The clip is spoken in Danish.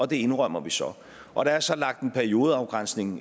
det indrømmer vi så og der er så lagt en periodeafgrænsning